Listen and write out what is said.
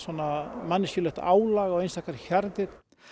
manneskjulegt álag á einstakar hjarðir